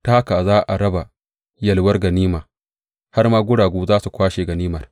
Ta haka za a raba yalwar ganima har ma guragu za su kwashe ganimar.